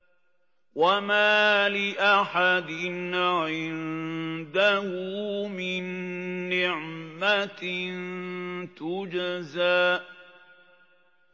وَمَا لِأَحَدٍ عِندَهُ مِن نِّعْمَةٍ تُجْزَىٰ